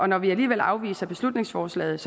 når vi alligevel afviser beslutningsforslaget